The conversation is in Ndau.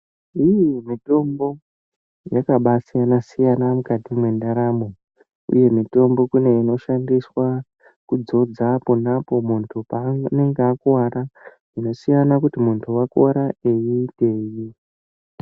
Imwe mitombo yakambai siyana siyana mukati mendaramo uye mitombo inoshandiswa kudzodza ponapo muntu paanenge akuwara. Zvinosiyana nekuti muntu unenge akuwara eyiiteyi.